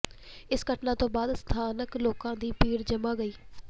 ਇਸ ਘਟਨਾ ਤੋਂ ਬਾਅਦ ਸਥਾਨਕ ਲੋਕਾਂ ਦੀ ਭੀੜ ਜਮ੍ਹਾ ਗਈ